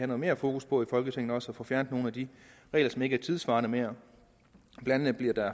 noget mere fokus på i folketinget altså at få fjernet nogle af de regler som ikke er tidssvarende mere blandt andet